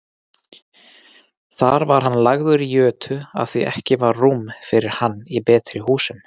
Þar var hann lagður í jötu afþví ekki var rúm fyrir hann í betri húsum.